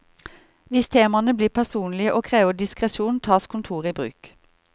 Hvis temaene blir personlige og krever diskresjon, tas kontoret i bruk.